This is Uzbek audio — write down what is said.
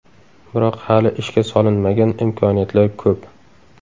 Biroq hali ishga solinmagan imkoniyatlar ko‘p.